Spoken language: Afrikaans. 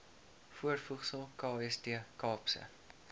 voorvoegsel kst kaapse